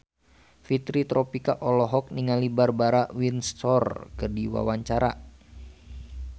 Fitri Tropika olohok ningali Barbara Windsor keur diwawancara